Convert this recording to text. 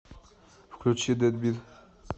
включи дэдбит